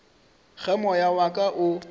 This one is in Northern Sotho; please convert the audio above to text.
ge moya wa ka o